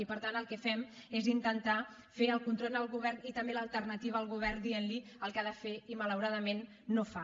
i per tant el que fem és intentar fer el control al govern i també l’alternativa al govern dientli el que ha de fer i malauradament no fa